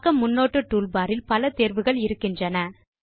பக்க முன்னோட்ட tool bar இல் பல தேர்வுகள் இருக்கின்றன